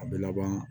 A bɛ laban